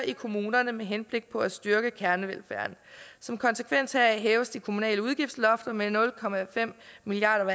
i kommunerne med henblik på at styrke kernevelfærden som konsekvens heraf hæves de kommunale udgiftslofter med nul milliard